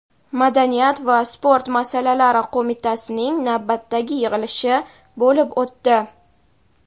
madaniyat va sport masalalari qo‘mitasining navbatdagi yig‘ilishi bo‘lib o‘tdi.